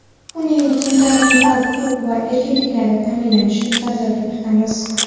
uning fundamental huquq va erkinliklarini ta’minlashni nazarda tutamiz.